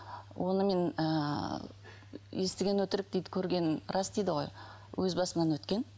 оны мен ыыы естіген өтірік дейді көрген рас дейді ғой өз басымнан өткен